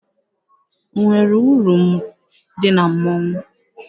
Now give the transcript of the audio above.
O nwere uru dị na mmọnwụ?